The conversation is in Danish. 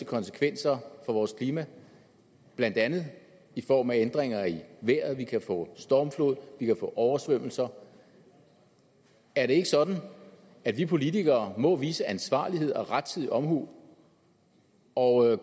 konsekvenser for vores klima blandt andet i form af ændringer i vejret vi kan få stormflod vi kan få oversvømmelser er det ikke sådan at vi politikere må udvise ansvarlighed og rettidig omhu og